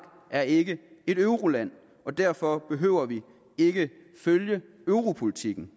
er ikke et euroland og derfor behøver vi ikke følge europolitikken